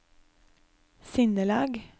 sinnelag